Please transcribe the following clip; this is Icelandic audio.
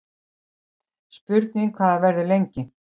Spurning hvað það verður lengi